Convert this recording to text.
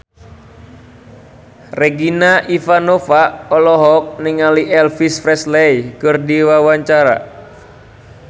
Regina Ivanova olohok ningali Elvis Presley keur diwawancara